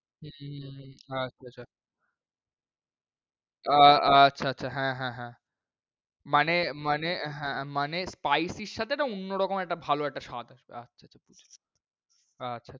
হম হ্যাঁ সেটা। আ~ আচ্ছা হ্যাঁ হ্যাঁ হ্যাঁ। মানে মানে এ~ হ্যাঁ মানে spicy এর সাথে একটা অন্য রকম একটা ভালো একটা স্বাদ আসবে আচ্ছা আচ্ছা বুঝেছি।